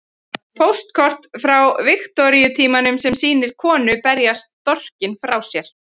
Póstkort frá Viktoríutímanum sem sýnir konu berja storkinn frá sér.